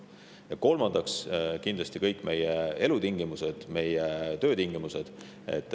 Ja kolmandaks: kindlasti on tähtsad meie elutingimused, meie töötingimused.